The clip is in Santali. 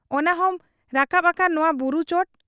ᱚᱱᱟᱦᱚᱸᱢ ᱨᱟᱠᱟᱵ ᱟᱠᱟᱱ ᱱᱚᱣᱟ ᱵᱩᱨᱩ ᱪᱚᱴ ᱾